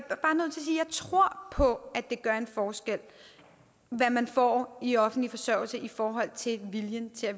tror på at det gør en forskel hvad man får i offentlig forsørgelse i forhold til viljen til at